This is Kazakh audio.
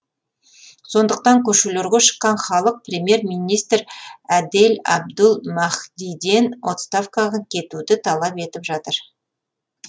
сондықтан көшелерге шыққан халық премьер министр әдел әбдул махдиден отставкаға кетуді талап етіп жатыр